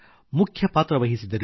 ಮುಖ್ಯ ಪಾತ್ರ ವಹಿಸಿದರು